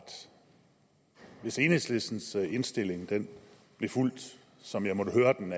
hvis enhedslistens indstilling blev fulgt som jeg hører den